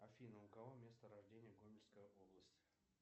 афина у кого место рождения гомельская область